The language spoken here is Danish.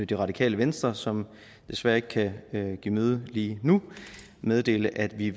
det radikale venstre som desværre ikke kan give møde lige nu meddele at vi